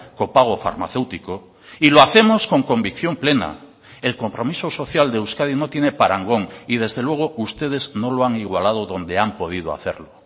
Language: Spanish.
copago farmacéutico y lo hacemos con convicción plena el compromiso social de euskadi no tiene parangón y desde luego ustedes no lo han igualado donde han podido hacerlo